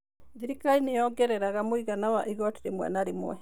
Thirikari nĩ yongereraga mũigana wa igooti rĩmwe na rĩmwe.